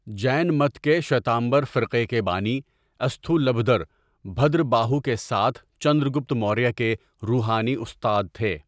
جین مت کے شویتامبر فرقے کے بانی استھولبھدر، بھدرباہو کے ساتھ چندرگپت موریہ کے روحانی استاد تھے۔